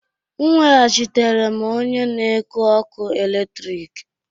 M weghachitere m onye na-eku ọkụ eletrik